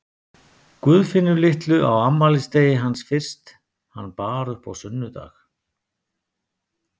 Guðfinnu litlu á afmælisdegi hans fyrst hann bar upp á sunnudag.